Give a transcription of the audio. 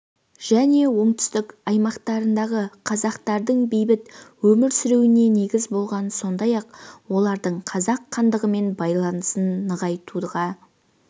және оңтүстік аймақтарындағы қазақтардың бейбіт өмір сүруіне негіз болған сондай-ақ олардың қазақ хандығымен байланысын нығайтуға